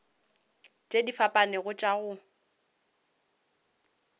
tše di fapanego tša go